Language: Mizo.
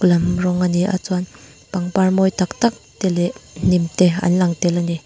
rawng a ni a chuan pangpar mawi tak tak te leh hnim te an lang tel a ni.